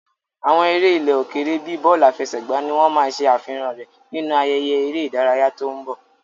Àwọn eré ilẹ̀ òkèèrè bíi bọ́ọ̀lù àfẹsẹ̀gbá ni wọ́n máa ṣe àfihàn rẹ̀ nínú ayẹyẹ eré ìdárayá tó ń bọ̀.